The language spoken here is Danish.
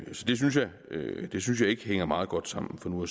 synes ikke det hænger meget godt sammen for nu